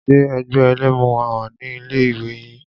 Ṣe ẹgbẹ́ ẹlẹ́mu wà ní ilé ìwé yín?